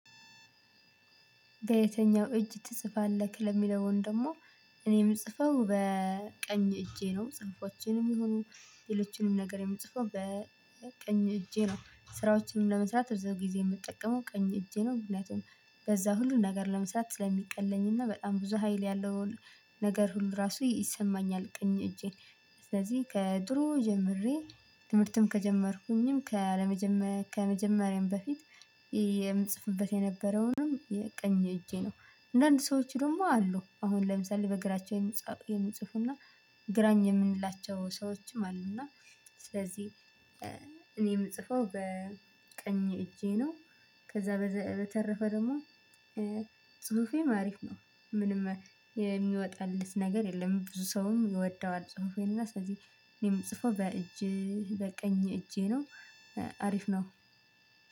በየትኛው እጅ ትጽፋለህ? ለሚለው ወይም ደግሞ እኔ ምጽፈው በቀኝ እጄ ነው። ጽሁፎቼንም ይሁኑ ሌሎችንም ነገር የምጽፈው በቀኝ እጄ ነው። ስራዎችንም ለመስራት ብዙ ጊዜ የምጠቀመው ቀኝ እጄ ነው። ምክንያቱም በዛ ሁሉን ነገር ለመስራት ስለሚቀለኝና በጣም ብዙ ሀይል ያለውን ነገር ሁሉ ራሱ ይሰማኛል። ቀኝ እጄ ስለዚህ ከድሮ ጀምሬ ትምህርትም ከጀመርኩኝም ካለመጀመሬ ከመጀመሬም በፊት የምጽፍበት የነበረውንም ቀኝ እጄ ነው። አንዳንድ ሰዎች ደግሞ አሉ አሁን ለምሳሌ በግራቸው የሚጽፉና ግራኝ የምንላቸው ሰዎችም አሉ እና ስለዚህ እኔ የምጽፈው በቀኝ እጄ ነው። ከዛ በተረፈ ደግሞ ጽሁፌም አሪፍ ነው። ምንም የሚወጣለር ነገር የለም። ብዙ ሰውም ይወደዋል። ጽሁፌን እና ስለዚህ እኔ ምጽፈው በእጀ በቀኝ እጄ ነው። አሪፍ ነው።